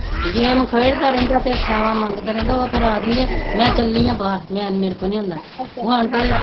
game ਖੇਡ ਦਾ ਰਹਿੰਦਾ ਮੈਂ ਚਲੀ ਆ ਬਾਹਰ ਮੈਂ ਮਰੇ ਕੋਲ ਨੀ ਹੁੰਦਾ